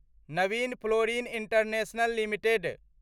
Naveen fluorine international limited